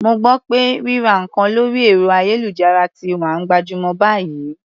Mo gbọ́ pé ríra nǹkan lórí ẹ̀rọ-ayélujára ti wá ń gbajúmọ̀ báyìí.